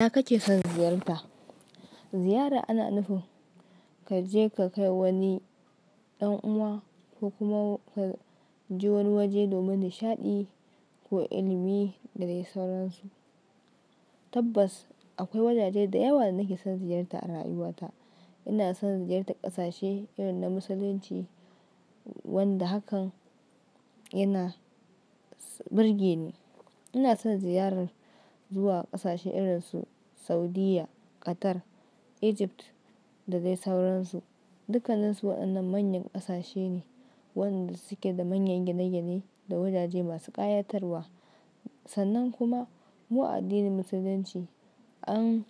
Ina kake son ziyarta? Ziyara ana nufin ka je ka kai wani ɗan uwa ko kuma ka je wani waje domin nishaɗi ko ilimi da dai sauransu. Tabbas akwai wajaje da yawa da nake son ziyarta a rayuwata. Ina son ziyartar ƙasashe irin na Musulunci wanda hakan yana burge ni. Ina son ziyarar zuwa ƙasashe irin su Saudiyya, Qatar, Egypt da dai sauransu. Dukansu waɗannan manyan ƙasashe ne waɗanda suke da manyan gine-gine da wajaje masu ƙayatarwa. Sannan kuma mu addinin Musulunci an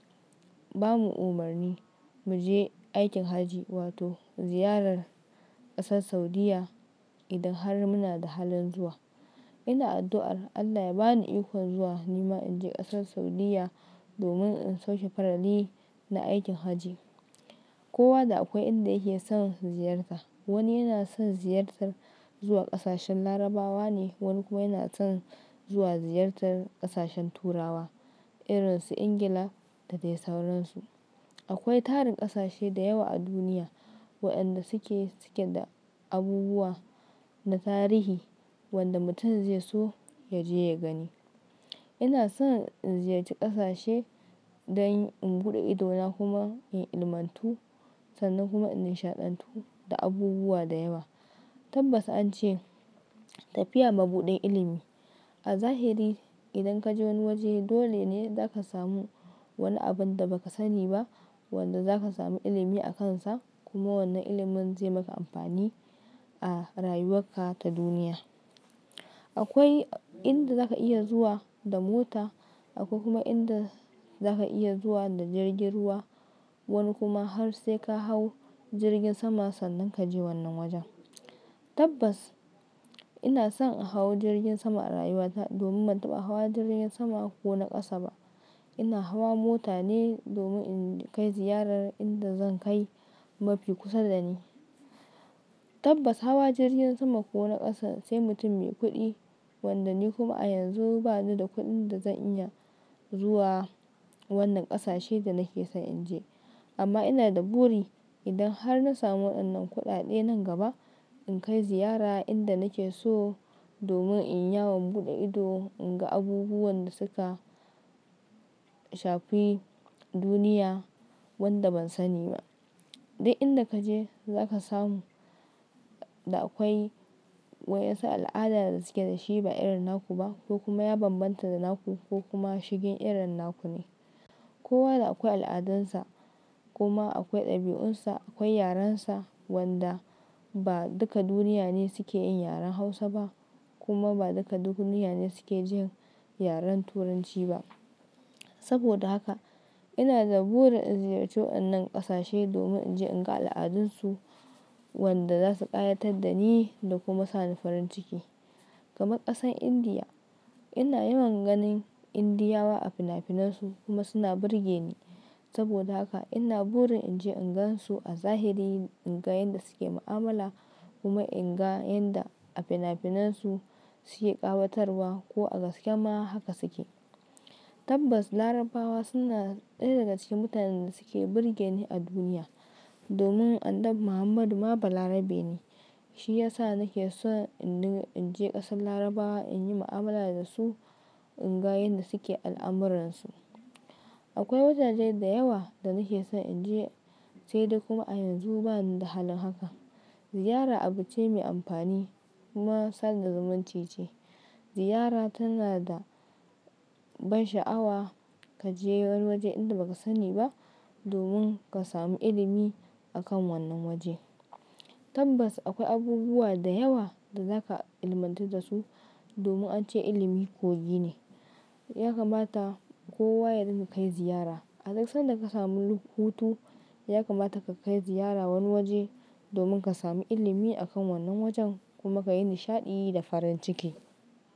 bamu umarni mu je aikin Hajji wato ziyarar ƙasar Saudiyya idan har muna da halin zuwa. Ina addu'a Allah ya bani iko zuwa nima in je ƙasar Saudiyya domin in sauke farali na aikin Hajji. Kowa da akwai inda yake son ziyarta. Wani yana son ziyartar zuwa ƙasashen Larabawa ne, wani kuma yana son zuwa ziyartar ƙasashen Turawa irin su Ingila da dai sauransu. Akwai tari ƙasashe da yawa a duniya waɗanda suke, suke da abubuwa na tarihi wanda mutum zai so ya je ya gani. Ina son in ziyarci ƙasashe dan in buɗe ido na kuma in ilimantu sannan kuma in nishaɗantu da abubuwa da yawa. Tabbas an ce tafiya mabuɗin ilimi. A zahiri idan kaje wani waje dole ne zaka samu wani abun da ba ka sani ba wanda zaka samu ilimi akansa kuma wannan ilimin zai maka amfani a rayuwarka ta duniya. Akwai inda zaka iya zuwa da mota, akwai kuma inda zaka iya zuwa da jirgin ruwa, wani kuma har sai ka hau jirgin sama sannan ka je wannan wajen. Tabbas ina son in hau jirgin sama a rayuwata domin ban taɓa hawa jirgin sama ko na ƙasa ba. Ina hawa mota ne domin in kai ziyarar inda zan kai mafi kusa da ni. Tabbas hawa jirgin sama ko na ƙasa sai mutum Mai kuɗi wanda ni kuma a yanzu bani da kuɗin da zan iya zuwa wannan ƙasashen da nake son in je. Amma ina da buri idan har na samu waɗannan kuɗaɗe nan gaba in kai ziyara inda nake so domin in yawon buɗe ido in ga abubuwan da suka shafi duniya wanda ban sani ba. Duk inda kaje zaka samu da akwai wayansu al'ada da suke da shi ba irin naku ba ko kuma ya bambanta da naku ko kuma shi din irin naku ne. Kowa da akwai al'adansa kuma akwai ɗabi'unsa, akwai yarensa wanda ba duka duniya ne suke yin yaren Hausa ba kuma ba duka duniya ne suke jin yaren Turanci ba. Saboda haka ina da burin in ziyarci waɗannan ƙasashe domin in je in ga al'adunsu wanda za su ƙayatar da ni da kuma sa ni farin ciki. Kamar ƙasar Indiya, ina yawan ganin Indiyawa a fina-finansu kuma suna burge ni. Saboda haka ina burin in je in gansu a zahiri, in ga yadda suke mu'amala kuma in ga yanda a fina-finansu suke ƙawatarwa ko a gaske ma haka suke. Tabbas Larabawa suna ɗaya daga cikin mutanen da suke burge ni a duniya domin Annabi Muhammadu ma balarabe ne. Shi ya sa nake son in je ƙasar Larabawa in yi mu'amala da su, in ga yanda suke al'amuransu. Akwai wajaje da yawa da nake son in je sai dai kuma a yanzu bani da halin haka. Ziyara abu ce me amfani kuma sanda zumuncu ce. Ziyara tana da ban sha'awa. Ka je wani waje inda baka sani ba domin ka samu ilimi a kan wannan waje. Tabbas akwai abubuwa da yawa da zaka ilimantu da su domin an ce ilimi kogi ne. Ya kamata kowa ya ɗinga kai ziyara. A duk sanda ka samu hutu ya kamata ka kai ziyara wani waje domin ka samu ilimi a kan wannan wajen kuma ka yi nishaɗi da farin ciki.